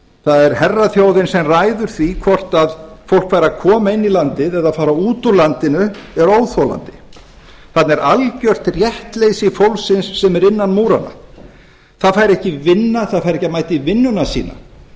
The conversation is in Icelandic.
það er herraþjóðin sem ræður því hvort fólk fær að koma inn í landið eða fara út úr landinu er óþolandi þarna er algjört réttleysi fólksins sem er innan múranna það fær ekki að vinna það fær ekki að mæta í vinnuna sína